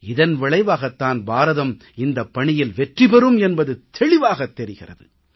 இதன் விளைவாகத் தான் பாரதம் இந்தப் பணியில் வெற்றி பெறும் என்பது தெளிவாகத் தெரிகிறது